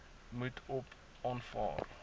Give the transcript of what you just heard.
moet op aanvraag